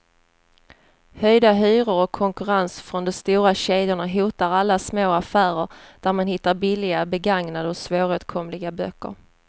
Höjda hyror och konkurrens från de stora kedjorna hotar alla små affärer där man hittar billiga, begagnade och svåråtkomliga böcker.